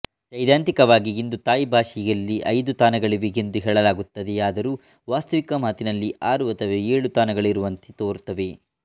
ಸೈದ್ಧಾಂತಿಕವಾಗಿ ಇಂದು ಥಾಯ್ ಬಾಷೆಯಲ್ಲಿ ಐದು ತಾನಗಳಿವೆ ಎಂದು ಹೇಳಲಾಗುತ್ತದೆಯಾದರೂ ವಾಸ್ತವಿಕ ಮಾತಿನಲ್ಲಿ ಆರು ಅಥವಾ ಏಳು ತಾನಗಳಿರುವಂತೆ ತೋರುತ್ತವೆ